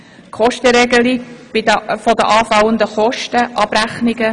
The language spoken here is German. die Kostenregelung für die anfallenden Kosten sowie deren Abrechnung;